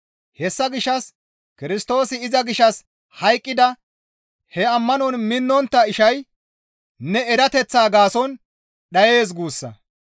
Hessa gishshas Kirstoosi iza gishshas hayqqida he ammanon minnontta ishay ne erateththa gaason dhayees guussa.